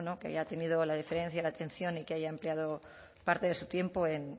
que haya tenido la deferencia y la atención y que haya empleado parte de su tiempo en